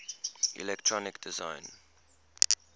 electronic design